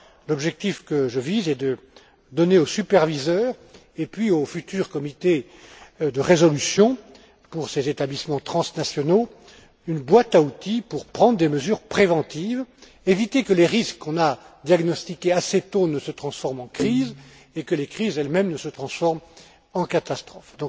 L'objectif que je vise est de donner aux superviseurs et au futur comité de résolution, pour ces établissements transnationaux, une boîte à outils pour prendre des mesures préventives, éviter que les risques qu'on a diagnostiqués assez tôt ne se transforment en crise et que les crises elles mêmes ne se transforment en catastrophes.